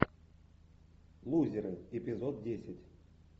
лузеры эпизод десять